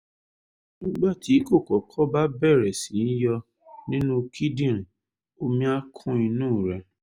nígbà tí kókọ́kọ́ bá bẹ̀rẹ̀ sí yọ nínú kíndìnrín omi á kún inú rẹ̀